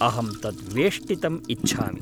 अहं तत् वेष्टितम् इच्छामि।